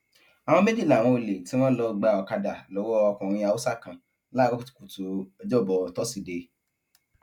àwọn méjì làwọn olè tí wọn lọọ gba ọkadà lọwọ ọkùnrin haúsá kan láàárọ kùtùkùtù ọjọbọ tọsídẹẹ